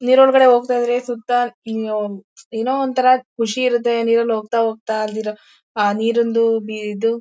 ನೀರೊಳಗಡೆ ಹೋಗ್ತಾ ಇದ್ರೆ ಸುತ್ತ ಏನೋ ಒಂಥರಾ ಖುಷಿ ಇರುತ್ತೆ ನೀರಲ್ ಹೋಗ್ತಾ ಹೋಗ್ತಾ ನೀರಿಂದು ಇದು